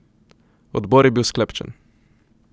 Odbor je bil sklepčen.